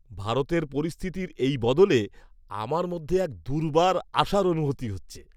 ভারতের পরিস্থিতির এই বদলে আমার মধ্যে এক দুর্বার আশার অনুভূতি হচ্ছে।